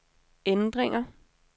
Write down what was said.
ændringer